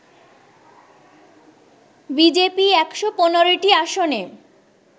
BJP ১১৫টি আসনে